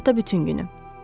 Sabah da bütün günü.